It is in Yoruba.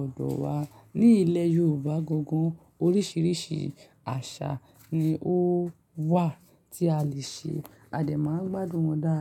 ọdọ wa. Ní ilẹ̀ Yorùbá gangan, oríṣiríṣi àṣà ni ó wà tí a le ṣe. Adé máa ń gbádùn wọn dáadáa.